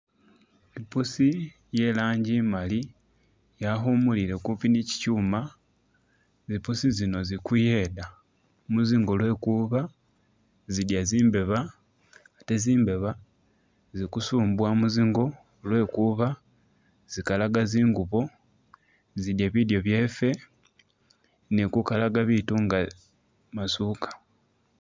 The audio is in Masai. I'puusi iye rangi imaali yakhumulile kupi ni chichuma, zipuusi zino zikuyeda mu zingo lwekuba zidya zimbeba ate zimbeba zi kusumbuwa muzingo lwekuba zigalaga zingubo, zidya bilyo byeffe, ne kukalaka biitu nga masuuka.